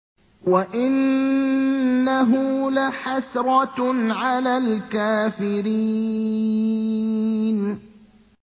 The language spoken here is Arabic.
وَإِنَّهُ لَحَسْرَةٌ عَلَى الْكَافِرِينَ